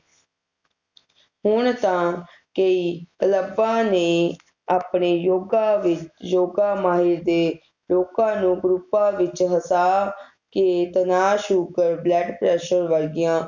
ਹੁਣ ਤਾ ਕਈ ਕਲਬਾਂ ਨੇ ਆਪਣੇ ਯੋਗਾ ਵਿਚ ਯੋਗਾ ਮਾਹਿਰ ਦੇ ਲੋਕਾਂ ਨੂੰ ਅਪਰੁਪਾ ਵਿਚ ਵਸਾ ਕੇ ਤਣਾਅ Sugar Blood Pressure ਵਰਗੀਆਂ